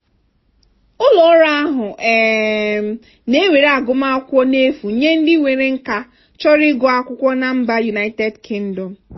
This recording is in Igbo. ụlọọrụ ahụ um na-ewere agụmakwụkwọ n'efu nye ndị nwere nkà chọrọ ịga akwụkwọ na mba united kingdom.